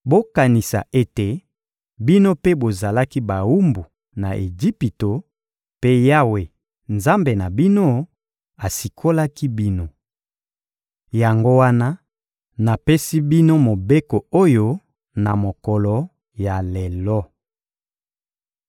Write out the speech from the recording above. Bokanisa ete bino mpe bozalaki bawumbu na Ejipito; mpe Yawe, Nzambe na bino, asikolaki bino. Yango wana, napesi bino mobeko oyo na mokolo ya lelo.